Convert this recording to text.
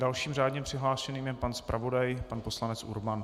Dalším řádně přihlášeným je pan zpravodaj, pan poslanec Urban.